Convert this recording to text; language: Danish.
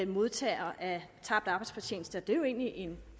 modtagere af tabt arbejdsfortjeneste og det er jo egentlig en